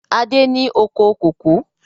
Adé ni oko kòkó